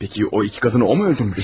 Peki o iki kadını o mu öldürmüş?